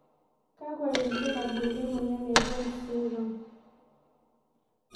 Kakwa ibulabul le moyian e Jones syndrome?